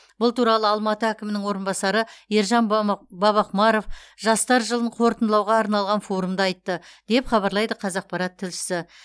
бұл туралы алматы әкімінің орынбасары ержан бабақұмаров жастар жылын қорытындылауға арналған форумда айтты деп хабарлайды қазақпарат тілшісі